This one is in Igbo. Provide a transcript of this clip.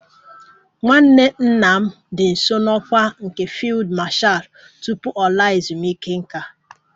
Nwanne nna m dị nso n'ọkwá nke Fiilidi Mashal tupu ọ laa ezumike nká